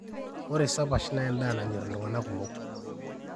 ore sapash naa endaa nanyor iltung'anak kumok